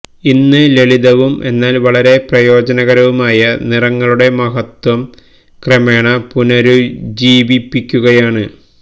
ഇന്ന് ലളിതവും എന്നാൽ വളരെ പ്രയോജനകരവുമായ നിറങ്ങളുടെ മഹത്വം ക്രമേണ പുനരുജ്ജീവിപ്പിക്കുകയാണ്